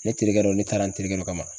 Ne terikɛ dɔ ne taara n terikɛ dɔ kama